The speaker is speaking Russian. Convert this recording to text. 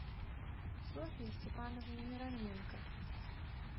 софье степановне мироненко